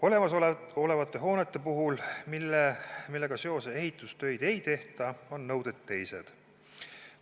Olemasolevate hoonete puhul, millega seoses ehitustöid ei tehta, on nõuded teised.